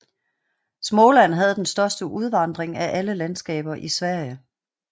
Småland havde den største udvandring af alle landskaber i Sverige